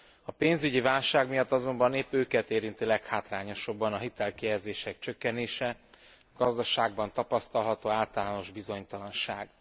A pénzügyi válság miatt azonban épp őket érinti leghátrányosabban a hitelkihelyezések csökkenése, a gazdaságban tapasztalható általános bizonytalanság.